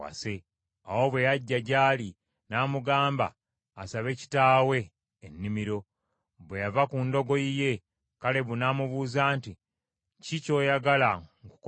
Awo bwe yajja gy’ali, n’amugamba asabe kitaawe ennimiro. Bwe yava ku ndogoyi ye, Kalebu n’amubuuza nti, “Kiki kyoyagala nkukolere?”